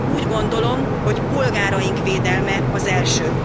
Úgy gondolom, hogy polgáraink védelme az első.